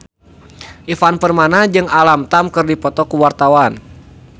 Ivan Permana jeung Alam Tam keur dipoto ku wartawan